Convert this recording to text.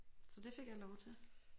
Så det fik jeg lov til